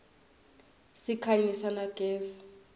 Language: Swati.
sikhanyisa na gezi